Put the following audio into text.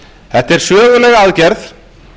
þetta er söguleg aðgerð